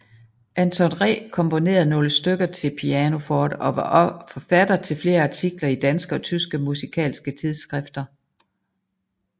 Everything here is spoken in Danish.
Anton Ree komponerede nogle stykker til pianoforte og var forfatter til flere artikler i danske og tyske musikalske tidsskrifter